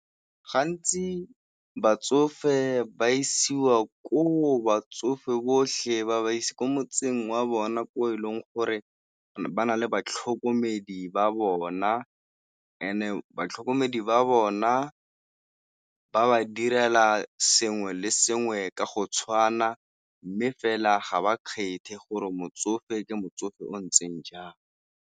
Gantsi batsofe ba isiwa ko batsofe botlhe ba ba , ko motseng wa bona ko e leng gore ba na le batlhokomedi ba bona, and-e batlhokomedi ba bona ba ba direla sengwe le sengwe ka go tshwana, mme fela ga ba kgethe gore motsofe ke motsofe o ntseng jang.